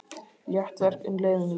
Létt verk en leiðinlegt.